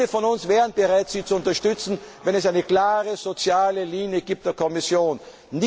Viele von uns wären bereit, Sie zu unterstützen, wenn es eine klare soziale Linie der Kommission gäbe.